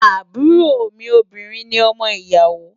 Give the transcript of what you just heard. Àbúrò mi obìnrin ni ọmọ ìyàwó.